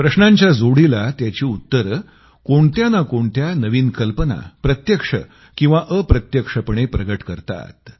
प्रश्नांच्या जोडीला त्याची उत्तरं कोणत्या ना कोणत्या नवीन कल्पना प्रत्यक्ष किंवा अप्रत्यक्षपणे प्रगट करतात